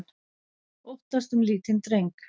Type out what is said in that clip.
Óttast um lítinn dreng